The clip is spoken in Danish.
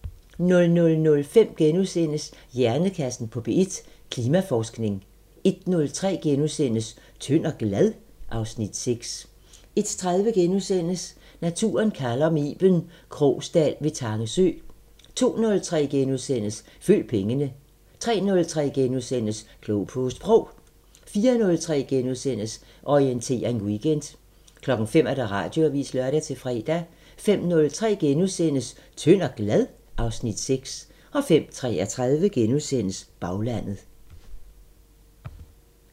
00:05: Hjernekassen på P1: Klimaforskning * 01:03: Tynd og glad? (Afs. 6)* 01:30: Naturen kalder – med Iben Krogsdal ved Tange sø * 02:03: Følg pengene * 03:03: Klog på Sprog * 04:03: Orientering Weekend * 05:00: Radioavisen (lør-fre) 05:03: Tynd og glad? (Afs. 6)* 05:33: Baglandet *